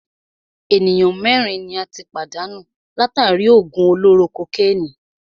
Ènìyàn mẹ́rin ni a tí pàdánù látàri í òògùn olóró kokénìí.